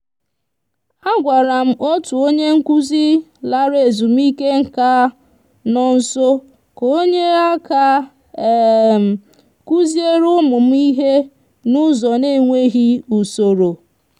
a gwara m otu onye nkuzi lara ezumike nka nọ nso ka o nyere aka kuzieere ụmụ m ihe n'ụzọ n'enweghị usoro.